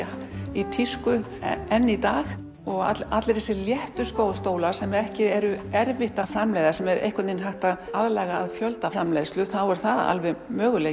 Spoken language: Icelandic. í tísku enn í dag og allar þessir léttu stólar sem ekki er erfitt að framleiða sem einhvern veginn er hægt að aðlaga að fjöldaframleiðslu þá er það alveg möguleiki